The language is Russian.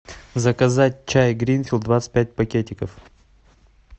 заказать чай гринфилд двадцать пять пакетиков